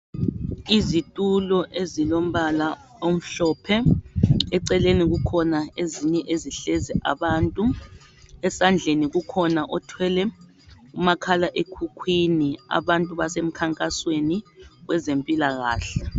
Izitulo ezilombala omhlophe eceleni kukhona ezinye ezihlezi abantu, esandleni kukhona othwele umakhala ekhukhwini, abantu basemkhankasweni kwezempilakahle